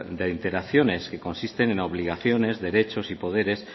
de interacciones y consisten en obligaciones derechos y poderes